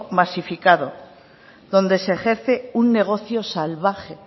masificado donde se ejerce un negocio salvaje